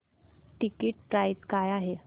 ticket price काय आहे